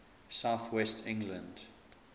south west england